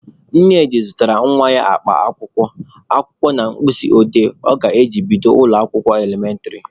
Nnedi zụtara nwa ya akpa akwụkwọ, akwụkwọ na mkpịsị odee ọ ga-eji bido ụlọ akwụkwọ elementịrị.